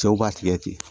Cɛw b'a tigɛ ten